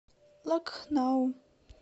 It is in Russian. лакхнау